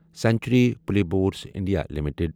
century plyboards India limited